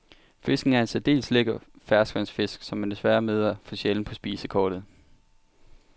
Fisken er en særdeles lækker ferskvandsfisk, som man desværre møder for sjældent på spisekortet.